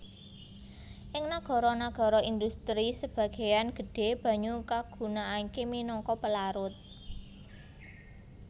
Ing nagara nagara indhustri sebagéyan gedhé banyu kagunakaké minangka pelarut